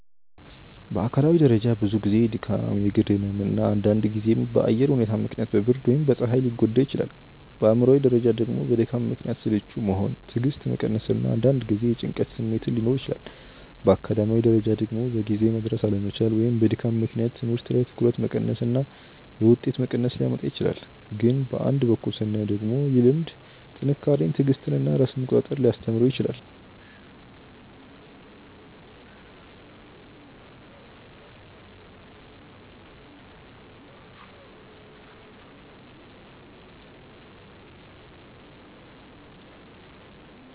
በአካላዊ ደረጃ ብዙ ጊዜ ድካም፣ የእግር ህመም እና አንዳንድ ጊዜም በአየር ሁኔታ ምክንያት በብርድ ወይም በፀሐይ ሊጎዳ ይችላል። በአእምሯዊ ደረጃ ደግሞ በድካም ምክንያት ስልቹ መሆን፣ ትዕግስት መቀነስ እና አንዳንድ ጊዜ የጭንቀት ስሜት ሊኖር ይችላል። በአካዳሚያዊ ደረጃ ደግሞ በጊዜ መድረስ አለመቻል ወይም በድካም ምክንያት ትምህርት ላይ ትኩረት መቀነስ እና የውጤት መቀነስ ሊያመጣ ይችላል። ግን በአንድ በኩል ስናየው ደግሞ ይህ ልምድ ጥንካሬን፣ ትዕግስትን እና ራስን መቆጣጠር ሊያስተምረው ይችላል